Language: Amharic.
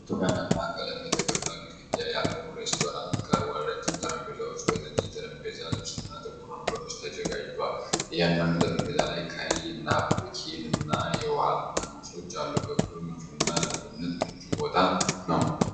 ብርቱካን ቀለም የተቀባ ግድግዳ ያለው ሬስቶራንት ቀርቧል። ረዥም ጠረጴዛዎች በነጭ የጠረጴዛ ልብስና ጥቁር ወንበሮች ተዘጋጅተዋል። እያንዳንዱ ጠረጴዛ ላይ ቀይ ናፕኪንና የውሃ ጠርሙሶች አሉ። ክፍሉ ምቹና ለምግብነት ምቹ ቦታ ነው።